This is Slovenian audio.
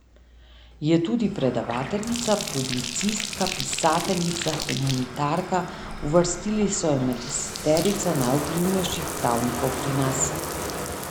Je tudi predavateljica, publicistka, pisateljica, humanitarka, uvrstili so jo med deseterico najvplivnejših pravnikov pri nas.